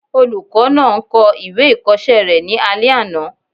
Olùkọ́ náà ń kọ ìwé ìkọsẹ́ rẹ̀ ní alẹ́ àná